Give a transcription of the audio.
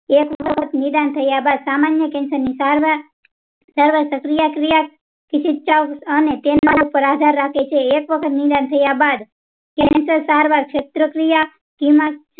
એક તો નિદાન થયા બાદ સામાન્ય cancer સારવાર સારવાર સક્રિય ક્રિયા અને તેના પર આધાર રાખે છે એક વખત નિદાન થયા બાદ cancer સારવાર ક્ષેત્રક્રિયા